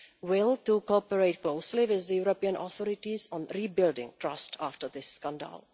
will to cooperate closely with the European authorities on rebuilding trust after this scandal.